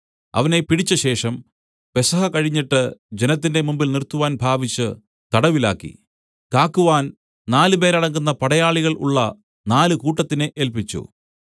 അവനെ പിടിച്ചശേഷം പെസഹ കഴിഞ്ഞിട്ട് ജനത്തിന്റെ മുമ്പിൽ നിർത്തുവാൻ ഭാവിച്ച് തടവിലാക്കി കാക്കുവാൻ നാല് പേരടങ്ങുന്ന പടയാളികൾ ഉളള നാല് കൂട്ടത്തിനെ ഏല്പിച്ചു